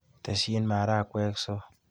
Tesyi maragwek so.